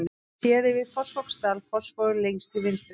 Séð yfir Fossvogsdal, Fossvogur lengst til vinstri.